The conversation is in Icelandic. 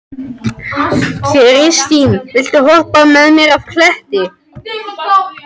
Kristine, viltu hoppa með mér?